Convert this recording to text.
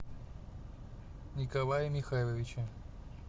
николае михайловиче